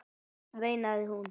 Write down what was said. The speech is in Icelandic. veinaði hún.